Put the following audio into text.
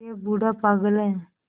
यह बूढ़ा पागल है